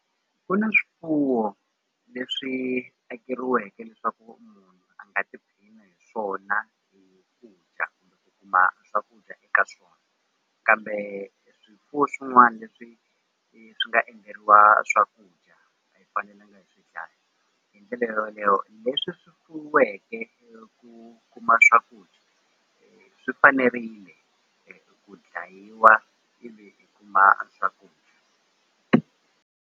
Ku na swifuwo leswi akeriweke leswaku a nga hi swona dya kuma swakudya eka swona kambe swifuwo swin'wana leswi swi nga endleriwa swakudya hi ndlela yoleyo leswi fuyiweke kuma swakudya swi fanerile ku dlayiwa ivi i kuma .